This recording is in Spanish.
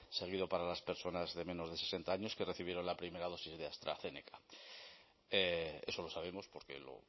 seguido para las personas de menos de sesenta años que recibieron la primera dosis de astrazeneca eso lo sabemos porque lo